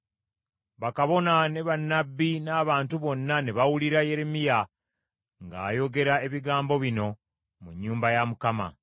Bakabona ne bannabbi n’abantu bonna ne bawulira Yeremiya ng’ayogera ebigambo bino mu nnyumba ya Mukama .